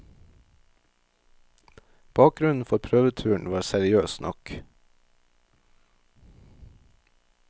Bakgrunnen for prøveturen var seriøs nok.